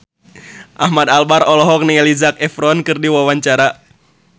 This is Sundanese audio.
Ahmad Albar olohok ningali Zac Efron keur diwawancara